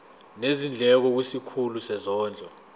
nezindleko kwisikhulu sezondlo